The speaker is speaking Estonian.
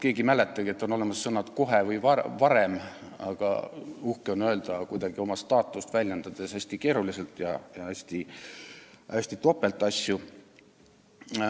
Keegi ei mäletagi, et on olemas sõnad "kohe" või "varem", aga uhke on öelda kuidagi oma staatust esile tõstes hästi keeruliselt ja teinekord topelt.